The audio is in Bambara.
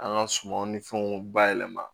An ka sumanw ni fɛnw bayɛlɛma